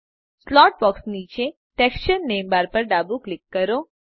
slot box નીચે texture નામે bar પર ડાબું ક્લિક કરો